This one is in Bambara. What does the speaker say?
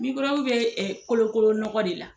Mikɔrɔbu bɛ kolokolo nɔgɔ de la.